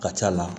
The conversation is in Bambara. Ka ca la